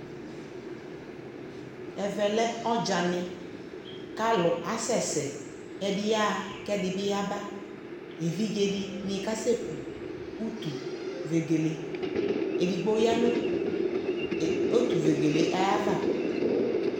ɛvɛ lɛɔdzanɛ kʋalʋ asɛsɛ, ɛdi byaha kʋ ɛdibi yaba, ɛvidzɛ dini kʋ asɛ kʋ ʋtʋ vɛgɛlɛ, ɛdigbɔ yanʋ ʋtʋ vɛgɛlɛ ayiava